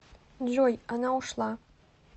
джой она ушла